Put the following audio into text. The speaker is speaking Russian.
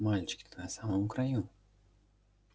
мальчик ты на самом краю